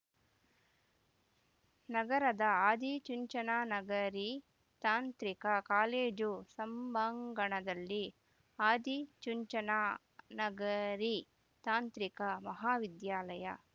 ನಗರದ ಆದಿಚುಂಚನ ನಗರಿ ತಾಂತ್ರಿಕ ಕಾಲೇಜು ಸಂಭಾಂಗಣದಲ್ಲಿ ಆದಿಚುಂಚನ ನಗರಿ ತಾಂತ್ರಿಕ ಮಹಾವಿದ್ಯಾಲಯ